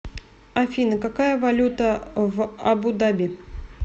афина какая валюта в абу даби